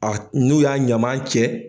n'u y'a ɲaman cɛ